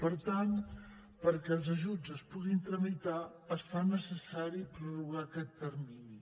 per tant perquè els ajuts es puguin tramitar es fa necessari prorrogar aquest termini